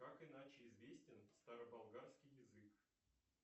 как иначе известен староболгарский язык